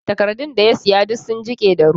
Takardun da ya siya ba duk sun jike da ruwa